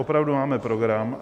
Opravdu máme program.